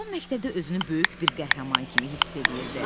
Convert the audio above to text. Tom məktəbdə özünü böyük bir qəhrəman kimi hiss eləyirdi.